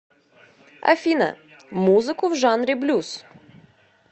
афина музыку в жанре блюз